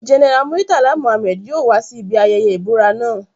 General Muritala Mohammed yoo wa si ibi ayẹyẹ ibura naa